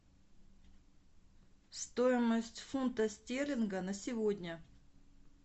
стоимость фунта стерлинга на сегодня